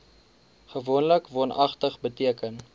gewoonlik woonagtig beteken